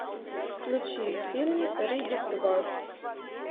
включи фильм риддик два